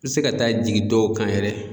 I bɛ se ka taa jigin dɔw kan yɛrɛ